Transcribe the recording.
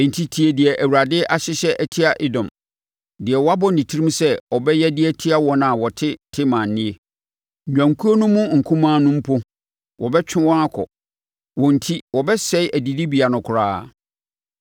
Enti tie deɛ Awurade ahyehyɛ atia Edom, deɛ wabɔ ne tirim sɛ ɔbɛyɛ de atia wɔn a wɔte Teman nie: Nnwankuo no mu nkumaa no mpo, wɔbɛtwe wɔn akɔ; wɔn enti wɔbɛsɛe adidibea no koraa.